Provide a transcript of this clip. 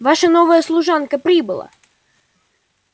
ваша новая служанка прибыла